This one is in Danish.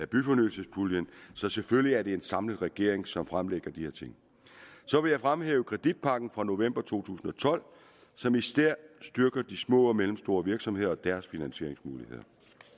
byfornyelsespuljen så selvfølgelig er det en samlet regering som fremlægger de her ting så vil jeg fremhæve kreditpakken fra november to tusind og tolv som især styrker de små og mellemstore virksomheder og deres finansieringsmuligheder